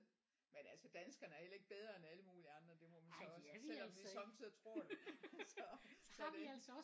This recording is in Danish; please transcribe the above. Men altså danskerne er heller ikke bedre end alle mulige andre det må man så også selvom vi sommetider tror det så så det